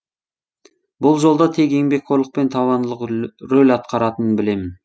бұл жолда тек еңбекқорлық пен табандылық рөл атқаратынын білемін